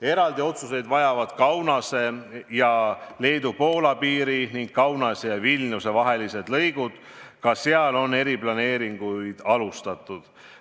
Eraldi otsuseid vajavad Kaunase ja Leedu-Poola piiri ning Kaunase ja Vilniuse vahelised lõigud, ka seal on eriplaneeringuid alustatud.